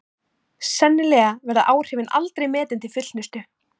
Sennilega verða áhrifin aldrei metin til fullnustu.